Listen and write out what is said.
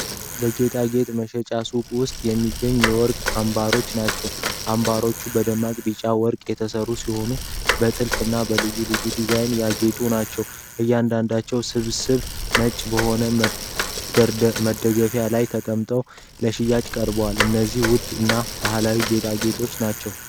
በጌጣጌጥ መሸጫ ሱቅ ውስጥ የሚገኙ የወርቅ አምባሮች ናቸው። አምባሮቹ በደማቅ ቢጫ ወርቅ የተሠሩ ሲሆኑ፣ በጥልፍ እና በልዩ ልዩ ዲዛይን ያጌጡ ናቸው። እያንዳንዱ ስብስብ ነጭ በሆነ መደገፊያ ላይ ተቀምጦ ለሽያጭ ቀርቧል። እነዚህ ውድ እና ባህላዊ ጌጣጌጦች ናቸው።